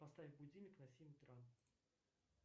поставь будильник на семь утра